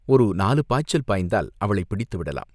ஒரு நாலு பாய்ச்சல் பாய்ந்தால் அவளைப் பிடித்து விடலாம்.